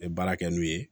N ye baara kɛ n'u ye